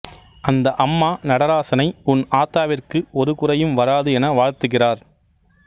அந்த அம்மா நடராசனை உன் ஆத்தாவிற்கு ஒரு குறையும் வராது என வாழ்த்துகிறார்